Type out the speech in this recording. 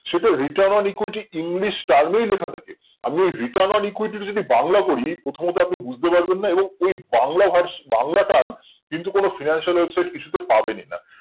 সেটা return on equity english turn এই লেখা থাকে আমি return on equity র যদি বাংলা করি প্রথমত আপনি বুঝতে পারবেন না এবং ওই বাংলা ভার্স বাংলাটার কিন্তু কোনো financial কিছুতে পাবেন না